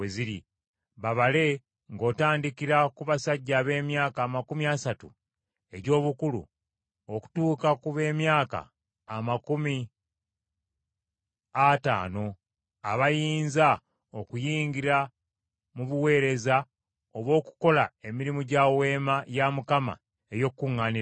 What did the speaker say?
Babale ng’otandikira ku basajja ab’emyaka amakumi asatu egy’obukulu okutuuka ku b’emyaka amakumi ataano, abayinza okuyingira mu buweereza obw’okukola emirimu egya Weema ey’Okukuŋŋaanirangamu.